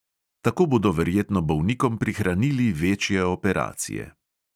Tako bodo verjetno bolnikom prihranili večje operacije.